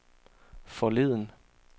forleden